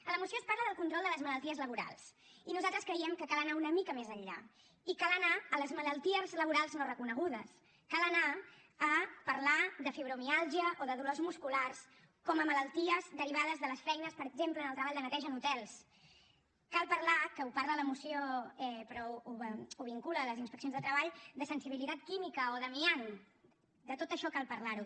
a la moció es parla del control de les malalties laborals i nosaltres creiem que cal anar una mica més enllà i cal anar a les malalties laborals no reconegudes cal anar a parlar de fibromiàlgia o de dolors musculars com a malalties derivades de les feines per exemple en el treball de neteja en hotels cal parlar que en parla la moció però ho vincula a les inspeccions de treball de sensibilitat química o d’amiant de tot això cal parlar ne